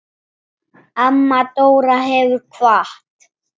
Amma Dóra hefur kvatt.